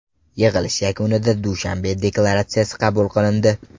Yig‘ilish yakunida Dushanbe deklaratsiyasi qabul qilindi.